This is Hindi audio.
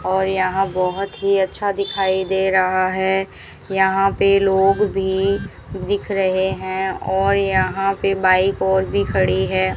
और यहां बहोत ही अच्छा दिखाई दे रहा है यहां पे लोग भी दिख रहे हैं और यहां पे बाइक और भी खड़ी है।